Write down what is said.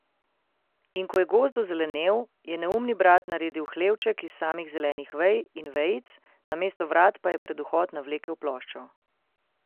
In ko je gozd ozelenel, je neumni brat naredil hlevček iz samih zelenih vej in vejic, namesto vrat pa je pred vhod navlekel ploščo.